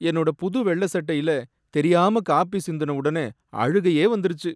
என்னோட புது வெள்ள சட்டையில தெரியாம காபி சிந்துன உடனே அழுகையே வந்துருச்சு.